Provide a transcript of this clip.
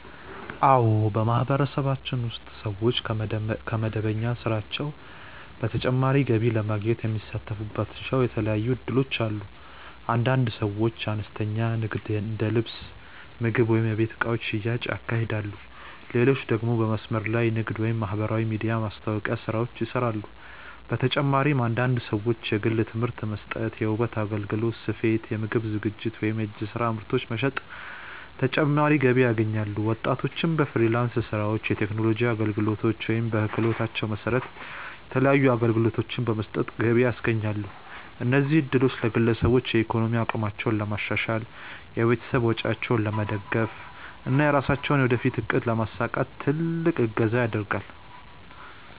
አዎ፣ በማህበረሰባችን ውስጥ ሰዎች ከመደበኛ ስራቸው በተጨማሪ ገቢ ለማግኘት የሚሳተፉባቸው የተለያዩ እድሎች አሉ። አንዳንድ ሰዎች አነስተኛ ንግድ እንደ ልብስ፣ ምግብ ወይም የቤት እቃዎች ሽያጭ ያካሂዳሉ፣ ሌሎች ደግሞ በመስመር ላይ ንግድ ወይም የማህበራዊ ሚዲያ ማስታወቂያ ስራዎችን ይሰራሉ። በተጨማሪም አንዳንድ ሰዎች የግል ትምህርት መስጠት፣ የውበት አገልግሎት፣ ስፌት፣ የምግብ ዝግጅት ወይም የእጅ ስራ ምርቶች በመሸጥ ተጨማሪ ገቢ ያገኛሉ። ወጣቶችም በፍሪላንስ ስራዎች፣ የቴክኖሎጂ አገልግሎቶች ወይም በክህሎታቸው መሰረት የተለያዩ አገልግሎቶችን በመስጠት ገቢ ያስገኛሉ። እነዚህ እድሎች ለግለሰቦች የኢኮኖሚ አቅማቸውን ለማሻሻል፣ የቤተሰብ ወጪዎችን ለመደገፍ እና የራሳቸውን የወደፊት እቅድ ለማሳካት ትልቅ እገዛ ያደርጋል።